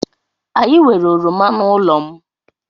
Anyị nwere oroma n'ụlọ m.